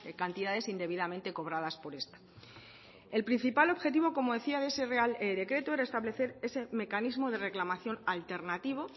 cantidades indebidamente cobradas por esta el principal objetivo como decía de ese real decreto era establecer ese mecanismo de reclamación alternativo